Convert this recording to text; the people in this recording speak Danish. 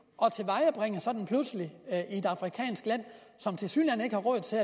er sådan pludselig i et afrikansk land som tilsyneladende ikke har råd til